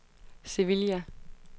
Sevilla